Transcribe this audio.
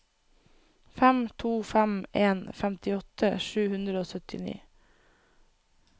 fem to fem en femtiåtte sju hundre og syttini